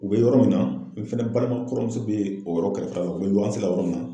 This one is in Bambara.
U bɛ yɔrɔ min na i fɛnɛ balima kɔrɔmuso be o yɔrɔ kɛrɛfɛla la u be luwanse la yɔrɔ min na